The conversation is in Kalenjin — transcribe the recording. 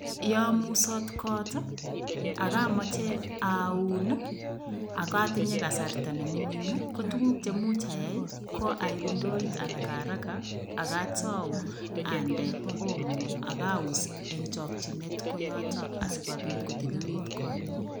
Yo musoot got ii ak amache aun ii, ak atinye kasarta ne mining ii, ko tukuk che much ayai ii, ko aip ndoit harakaharaka ak atou ande Omo ak aus eng chokchinet koyoto asikobit kotililit konyu.